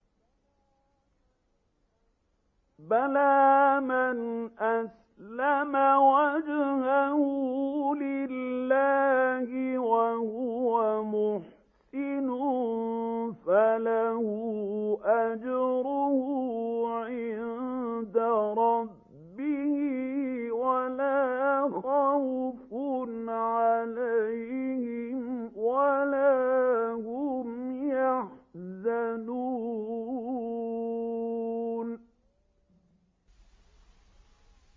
بَلَىٰ مَنْ أَسْلَمَ وَجْهَهُ لِلَّهِ وَهُوَ مُحْسِنٌ فَلَهُ أَجْرُهُ عِندَ رَبِّهِ وَلَا خَوْفٌ عَلَيْهِمْ وَلَا هُمْ يَحْزَنُونَ